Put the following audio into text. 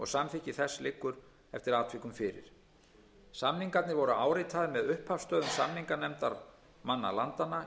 samþykki þess liggur eftir atvikum fyrir samningarnir voru áritaðir með upphafsstöfum samninganefndarmanna landanna í london